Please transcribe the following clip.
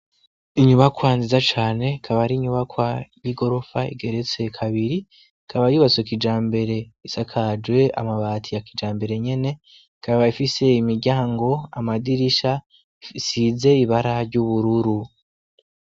Inyubakwa nziza cane ikaba ari inyubakwa y'igorofa igeretse kabiri ikaba yubatse kijambere isakajwe amabati ya kijambere nyene ikaba ifise imiryango, amadirisha isize ibara ry'ubururu.